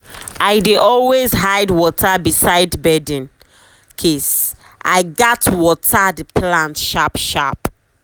i dey always hide water beside bedin case i gats water the plant sharp sharp.